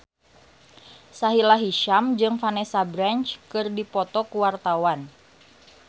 Sahila Hisyam jeung Vanessa Branch keur dipoto ku wartawan